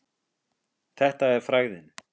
Þetta er frægðin.